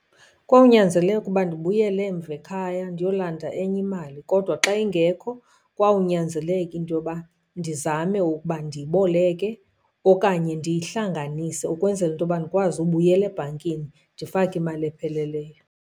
Kwawunyanzeleka uba ndibuyele emva ekhaya ndiyolanda enye imali kodwa xa ingekho kwawunyanzeleka into yoba ndizame ukuba ndiyiboleke okanye ndiyihlanganise, ukwenzela into yoba ndikwazi ubuyela ebhankini ndifake imali epheleleyo.